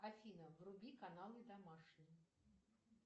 афина вруби каналы домашний